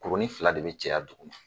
Kurunin fila de bɛ caya dugu ma!